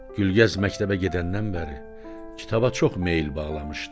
Gülgəz məktəbə gedəndən bəri kitaba çox meyil bağlamışdı.